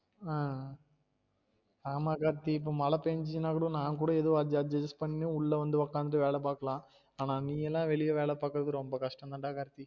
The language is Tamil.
அஹ் ஆமா கார்த்தி இப்ப மழ பென்ஜினா கூட நான் கூட ஏதோ adj~ adjust பண்ணி உள்ள வந்து உக்காந்து வேல பாக்கலாம் ஆனா நீ எல்லாம் வெளிய வேல பாக்குறது ரொம்ப கஷ்டம் தான் டா கார்த்தி